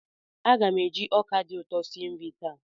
Aga m eji ọka dị ụtọ sie nri taa.